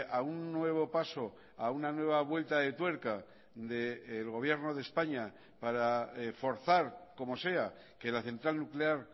a un nuevo paso a una nueva vuelta de tuerca del gobierno de españa para forzar como sea que la central nuclear